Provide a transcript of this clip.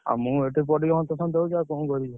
ଆଉ ମୁଁ ଏଠି ପଡିକି ହନ୍ତସନ୍ତ ହଉଛି ଆଉ କଣ କରିବି।